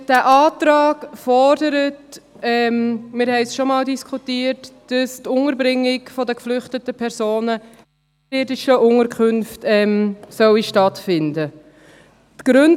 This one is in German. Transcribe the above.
Der Antrag fordert – wir diskutierten dies schon einmal –, dass die Unterbringung der geflüchteten Personen in oberirdischen Unterkünften stattfinden soll.